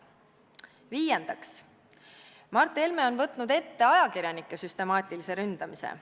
Viiendaks, Mart Helme on võtnud ette ajakirjanike süstemaatilise ründamise.